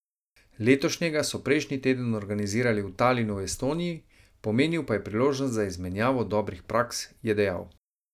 Letošnjega so prejšnji teden organizirali v Talinu v Estoniji, pomenil pa je priložnost za izmenjavo dobrih praks, je dejal.